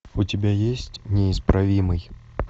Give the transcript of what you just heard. у тебя есть неисправимый